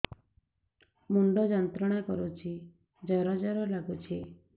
ମୁଣ୍ଡ ଯନ୍ତ୍ରଣା କରୁଛି ଜର ଜର ଲାଗୁଛି